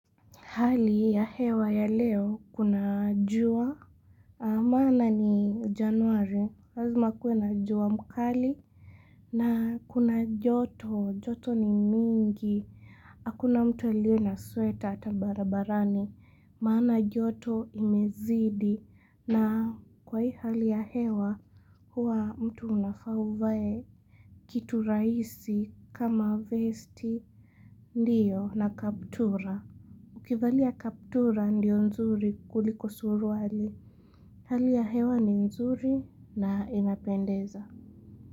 Hali ya hewa ya leo kuna jua, maana ni januari, razuma kue na jua mkali, na kuna joto, joto ni mingi, akuna mtu alie na sweta ata barabarani, maana joto imezidi, na kwa hii hali ya hewa, huwa mtu unafauvae kitu raisi kama vesti, ndiyo na kaptura. Ukivali ya kaptura ndio nzuri kuliko suruwali, hali ya hewa ni nzuri na inapendeza.